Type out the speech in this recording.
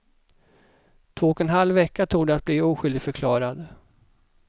Två och en halv vecka tog det att bli oskyldigförklarad.